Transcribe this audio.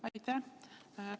Aitäh!